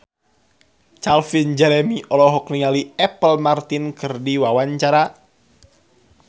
Calvin Jeremy olohok ningali Apple Martin keur diwawancara